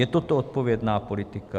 Je toto odpovědná politika?